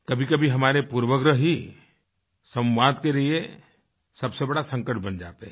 कभीकभी हमारे पूर्वाग्रह ही संवाद के लिए सबसे बड़ा संकट बन जाते हैं